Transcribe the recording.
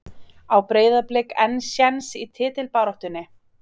Á Breiðablik enn séns í titilbaráttunni?